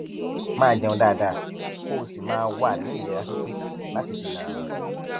máa jẹun dáadáa kó o sì máa wà ní ìlera pípé láti dènà àrùn